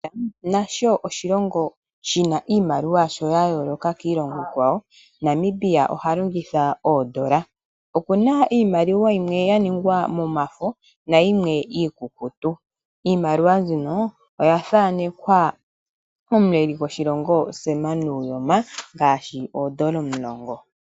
Namibia nasho oshilongo shina iimaliwa yasho ya yoloka kiimaliwa yokiilongo ikwa wo. Namibia oha longitha o dollar. Opuna iimaliwa yimwe ya ningwa momafo nayimwe iikukutu, iimaliwa mbika oya thanekwa omuleli goshilongo Sam Nujoma ngashi ondola omulongo.